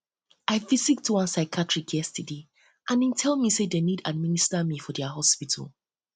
i visit one psychiatrist yesterday and e tell me say they need to administer me for their hospital